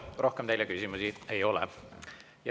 Rohkem teile küsimusi ei ole.